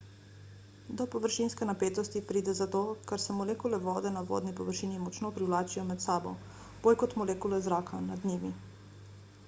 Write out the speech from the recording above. do površinske napetosti pride zato ker se molekule vode na vodni površini močno privlačijo med sabo bolj kot molekule zraka nad njimi